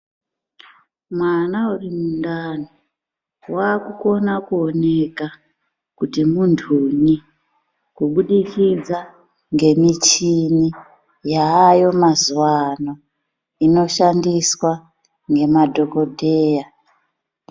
Mwana uri mundani, waakukona kuoneka kuti muntunyi, kubudikidza ngemichini yaayo mazuwaano, inoshandiswa ngemadhokodheya.